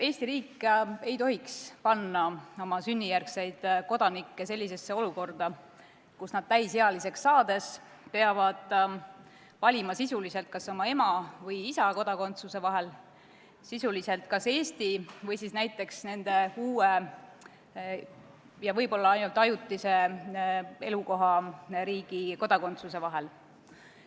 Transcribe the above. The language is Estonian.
Eesti riik ei tohiks panna oma sünnijärgseid kodanikke sellisesse olukorda, kus nad täisealiseks saades peavad valima sisuliselt oma ema ja isa kodakondsuse vahel või Eesti ja näiteks uue ning võib-olla ainult ajutise elukohariigi kodakondsuse vahel.